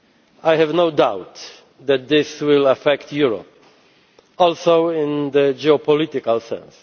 I have no doubt that this will affect Europe, also in the geopolitical sense.